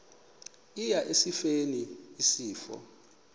eya esifeni isifo